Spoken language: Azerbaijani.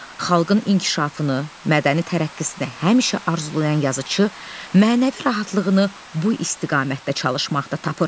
Xalqın inkişafını, mədəni tərəqqisini həmişə arzulayan yazıçı mənəvi rahatlığını bu istiqamətdə çalışmaqda tapır.